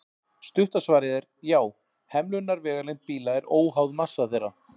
Stutta svarið er já: Hemlunarvegalengd bíla er óháð massa þeirra.